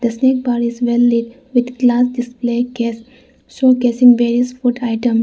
a snack bar is well lit with glass display case showcasing various food item.